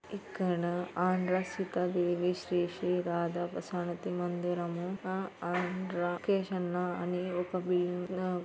ఇక్కడ ఆంధ్ర సీతాదేవి శ్రీ శ్రీ రాధా సమితి మందిరం ముందు ఆంధ్ర--కేషన్.